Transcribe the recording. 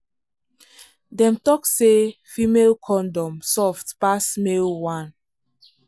dem talk say female condom soft pass male one.